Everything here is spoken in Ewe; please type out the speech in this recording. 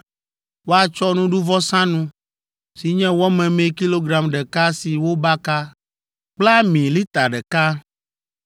Woatsɔ nuɖuvɔsanu, si nye wɔ memee kilogram ɖeka si wobaka kple ami lita ɖeka.